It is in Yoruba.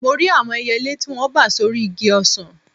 Mo rí àwọn ẹyẹlé tí wọ́n bà sórí igi ọsàn